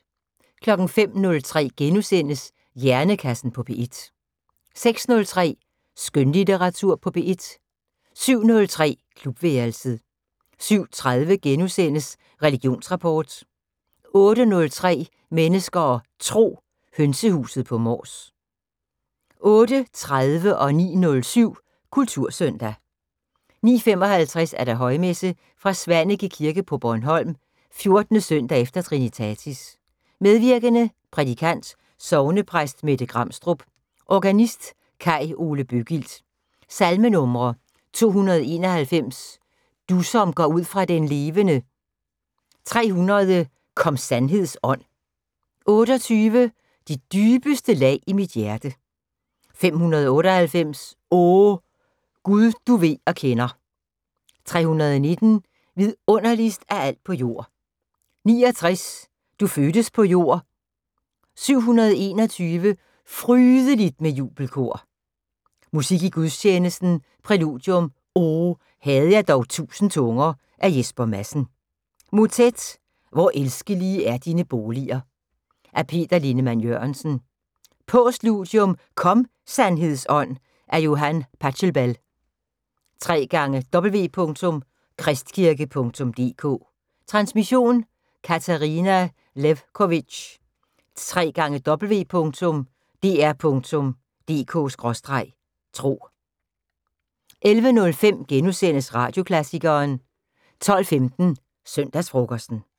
05:03: Hjernekassen på P1 * 06:03: Skønlitteratur på P1 07:03: Klubværelset 07:30: Religionsrapport * 08:03: Mennesker og Tro: Hønsehuset på Mors 08:30: Kultursøndag 09:07: Kultursøndag 09:55: Højmesse - fra Svaneke Kirke på Bornholm. 14. søndag efter trinitatis. Medvirkende: Prædikant: Sognepræst Mette Gramstrup. Organist: Kai Ole Bøggild. Salmenumre: 291: "Du som går ud fra den levende". 300: " Kom sandheds Ånd". 28: " De dybeste lag i mit hjerte". 598: "O, Gud du ved og kender". 319: "Vidunderligst af alt på jord". 69: "Du fødtes på jord". 721: " Frydeligt med jubelkor". Musik i gudstjenesten: Præludium: "O, havde jeg dog 1000 tunger" af Jesper Madsen. Motet: " Hvor elskelige er dine boliger" af Peter Lindeman Jørgensen. Postludium: " Kom, Sandheds Ånd!" af Johann Pachelbel. www.kristkirke.dk Transmission: Katarina Lewkovitch. www.dr.dk/tro 11:05: Radioklassikeren * 12:15: Søndagsfrokosten